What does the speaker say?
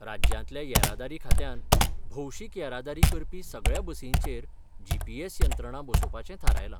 राज्यांतल्या येरादारी खात्यान भोवशीक येरादारी करपी सगळ्यां बसींचेर जीपीएस यंत्रणा बसोवपाचें थारायलां.